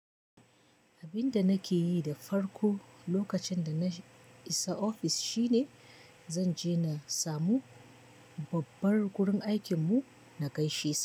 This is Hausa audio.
Abinda nake yi da farko lokacin da na isa ofis shine zan je na samu babbar gurin aikin mu, na gaishe sa.